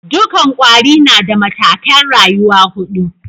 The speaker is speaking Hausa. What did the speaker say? Dukan kwari na da matakai'n rayuwa hudu.